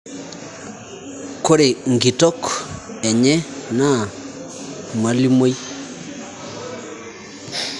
Kore nkitok enye naa mwalimoi